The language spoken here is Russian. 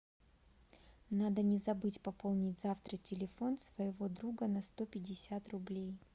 надо не забыть пополнить завтра телефон своего друга на сто пятьдесят рублей